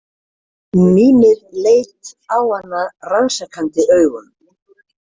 Mímir leit á hana rannsakandi augum.